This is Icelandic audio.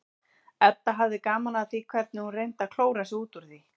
Edda hafði gaman af því hvernig hún reyndi að klóra sig út úr því.